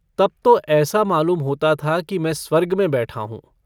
तब तो ऐसा मालूम होता था कि मैं स्वर्ग में बैठा हूँ।